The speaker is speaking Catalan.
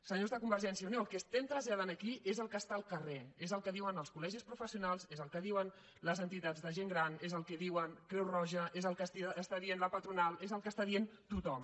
senyors de convergència i unió el que estem traslladant aquí és el que està al carrer és el que diuen els col·legis professionals és el que diuen les entitats de gent gran és el que diu creu roja és el que està dient la patronal és el que està dient tothom